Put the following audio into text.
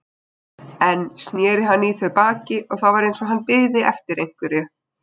Enn sneri hann í þau baki og það var eins og hann biði eftir einhverju.